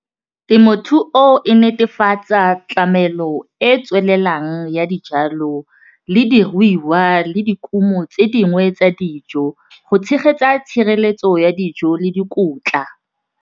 Temothuo e netefatsa tlamelo e e tswelelang ya dijalo le diruiwa le dikumo tse dingwe tsa dijo go tshegetsa tshireletso ya dijo le dikotla.